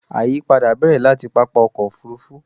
àyípadà bẹ̀rẹ̀ láti pápá ọkọ̀ òfurufú